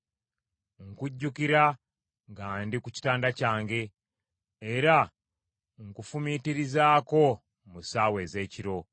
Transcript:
Nkujjukira nga ndi ku kitanda kyange, era nkufumiitirizaako mu ssaawa ez’ekiro.